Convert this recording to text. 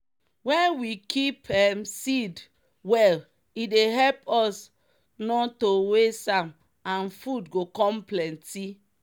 wen we keep um seed well e dey help us nor to waste am and food go com plenty.